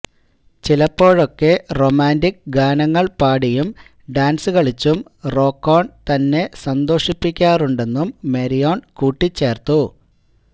ചിലപ്പോഴൊക്കെ റൊമാന്റിക് ഗാനങ്ങള് പാടിയും ഡാന്സ് കളിച്ചും റോക്കോണ് തന്നെ സന്തോഷിപ്പിക്കാറുണ്ടെന്നും മാരിയോണ് കൂട്ടിച്ചേര്ത്തു